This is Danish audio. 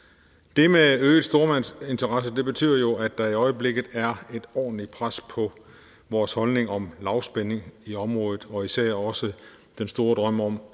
det med øgede stormagtsinteresser betyder jo at der i øjeblikket er et ordentligt pres på vores holdning om lavspænding i området og især også den store drøm om